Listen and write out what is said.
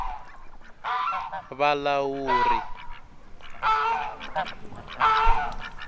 vulawuri